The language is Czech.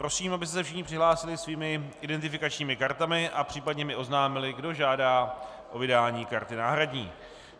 Prosím, abyste se všichni přihlásili svými identifikačními kartami a případně mi oznámili, kdo žádá o vydání karty náhradní.